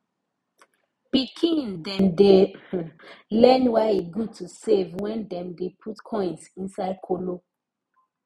pikin dem dey um learn why e good to save wen dem dey put coins inside kolo